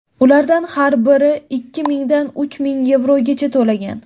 Ulardan har biri ikki mingdan uch ming yevrogacha bo‘lgan.